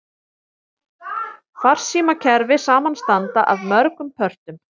Farsímakerfi samanstanda af mörgum pörtum.